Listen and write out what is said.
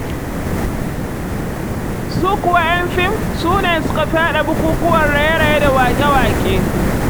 Su kuwa 'yan fim, su ne suka fi haɗa bukukuwan raye-raye da waƙe-waƙe.